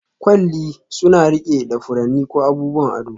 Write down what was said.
Kwalli suna riƙe da furanni ko abubuwan ado